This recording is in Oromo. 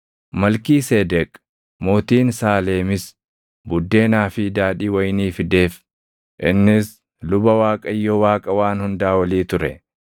Malkiiseedeq mootiin Saaleemis buddeenaa fi daadhii wayinii fideef; innis luba Waaqayyo Waaqa Waan Hundaa Olii ture;